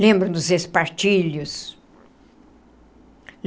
Lembram dos espartilhos.